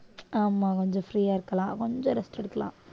ஆமா கொஞ்சம் free ஆ இருக்கலாம் கொஞ்சம் rest எடுக்கலாம்